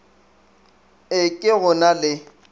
e ke go na le